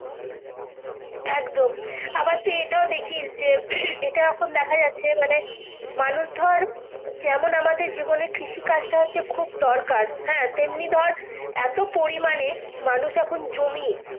একদম আবার তুই এটা দেখিস যে হম এটা এখন দেখা যাচ্ছে মানে মানুষ ধরে কেমন আমাদের জীবনের কৃষি কাজ টা খুব দরকার হ্যাঁ তেমনি ধরে এত পড়ি মানে মানুষ এখন জমি।